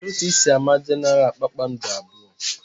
Kedụ ka ị si ámá Genaral kpakpando abụọ?